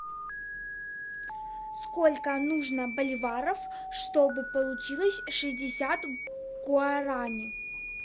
сколько нужно боливаров чтобы получилось шестьдесят гуарани